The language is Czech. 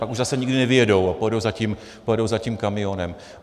Pak už zase nikdy nevyjedou a pojedou za tím kamionem.